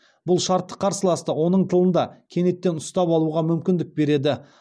бұл шартты қарсыласты оның тылында кенеттен ұстап алуға мүмкіндік береді